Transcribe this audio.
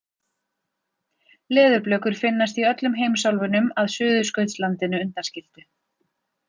Leðurblökur finnast í öllum heimsálfunum að Suðurskautslandinu undanskildu.